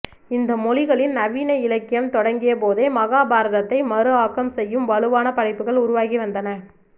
இந்தியமொழிகளின் நவீன இலக்கியம் தொடங்கியபோதே மகாபாரதத்தை மறுஆக்கம் செய்யும் வலுவான படைப்புகள் உருவாகி வந்தன